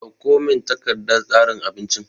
Kawo min takardan tsarin abincin!